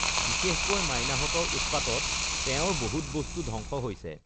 বিশেষকৈ মাইনাহতঁৰ উৎপাতত তেওঁৰ বহুত বস্তু ধ্বংস হৈছে